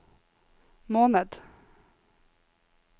måned